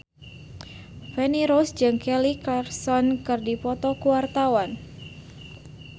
Feni Rose jeung Kelly Clarkson keur dipoto ku wartawan